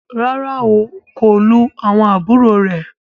Ràrá o, kò lù àwọn àbúrò rẹ.